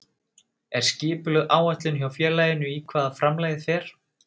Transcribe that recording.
Er skipulögð áætlun hjá félaginu í hvað framlagið fer?